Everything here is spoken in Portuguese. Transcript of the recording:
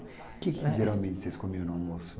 O que geralmente vocês comiam no almoço?